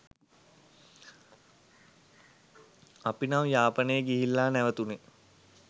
අපි නම් යාපනේ ගිහිල්ල නැවතුනේ